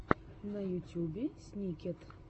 на ютюбе сникет